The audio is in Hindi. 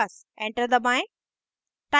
enter दबाएं